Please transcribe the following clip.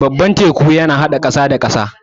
Babban teku yana haɗa ƙasa da ƙasa.